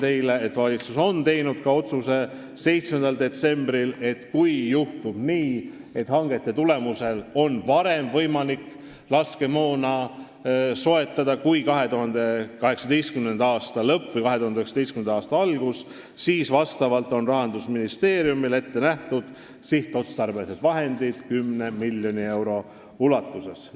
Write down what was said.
Nimelt, valitsus tegi 7. detsembril otsuse, et kui juhtub nii, et hangete tulemusel on võimalik soetada laskemoona varem kui 2018. aasta lõpus või 2019. aasta alguses, siis on Rahandusministeeriumil selleks ette nähtud sihtotstarbelised vahendid 10 miljoni euro ulatuses.